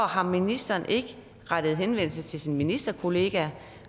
har ministeren ikke rettet henvendelse til sin ministerkollega